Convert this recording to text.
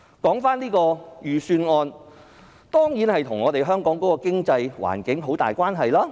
這份預算案當然與香港的經濟環境有很大關係。